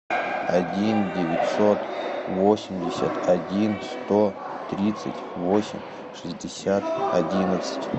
один девятьсот восемьдесят один сто тридцать восемь шестьдесят одиннадцать